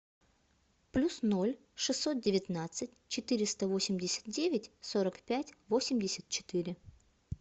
плюс ноль шестьсот девятнадцать четыреста восемьдесят девять сорок пять восемьдесят четыре